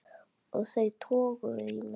Og þau toguðu í mig.